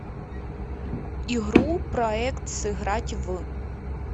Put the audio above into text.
игру проект сыграть в